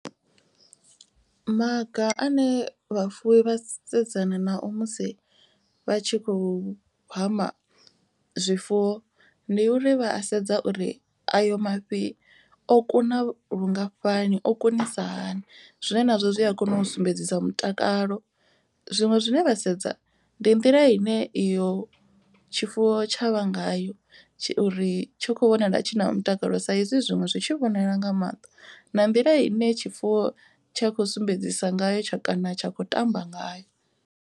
Maga ane vhafuwi vha sedzana nao musi vha tshi khou hama zwifuwo. Ndi uri vha a sedza uri ayo mafhi o kuna lungafhani o kunisa hani zwine nazwo zwi a kona u sumbedzisa mutakalo. Zwiṅwe zwine vha sedza ndi nḓila ine iyo tshifuwo tshavha ngayo uri tshi khou vhonala tshi na mutakalo. Sa izwi zwiṅwe zwi tshi vhonala nga maṱo na nḓila ine tshifuwo tsha khou sumbedzisa ngayo kana tsha khou tamba ngayo.